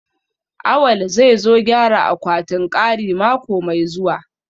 Awal zai zo gyara akwatin kari mako mai zuwa